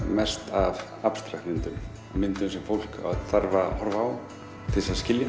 mest af abstrakt myndum myndum sem fólk þarf að horfa á til að skilja